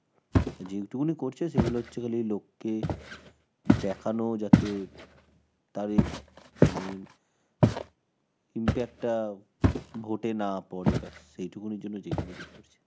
যেইটুকু করছে সেগুলো হচ্ছে খালি লোককে দেখানো যাতে তারে~ মানে, impact টা vote এ না পরে ব্যাস, এইটুকুনির জন্য যেটুকুটি করছে.